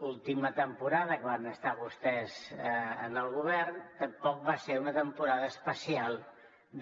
l’última temporada que van estar vostès en el govern tampoc va ser una temporada especial